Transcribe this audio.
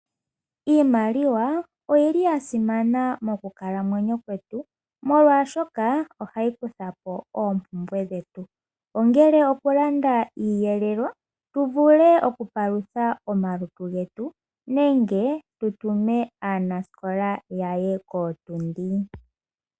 Iimaliwa oyili ya simana mokukalamwenyo kwetu molwashoka ohayi kuthapo oompumbwe dhetu, ongele oku landa iiyelelwa tu vule oku palutha omalutu getu, nenge tu tume aanasikola yaye kootundi.